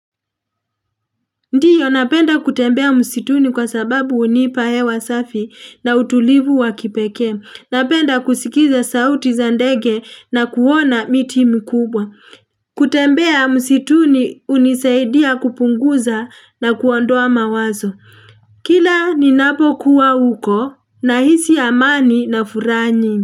Ndiyo napenda kutembea msituni kwa sababu hunipa hewa safi na utulivu wa kipekee. Napenda kusikiza sauti za ndege na kuona miti mikubwa. Kutembea msituni hunisaidia kupunguza na kuondoa mawazo. Kila ni napokuwa huko nahisi amani na furaha nyingi.